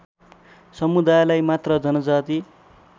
समुदायलाई मात्र जनजाति